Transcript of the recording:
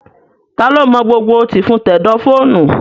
Taa ló mọ gbogbo tìfun tẹ̀dọ̀ fóònù?